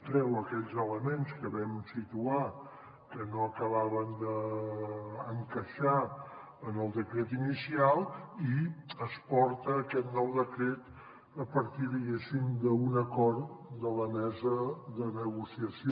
treu aquells elements que vam situar que no acabaven d’encaixar en el decret inicial i es porta aquest nou decret a partir diguéssim d’un acord de la mesa de negociació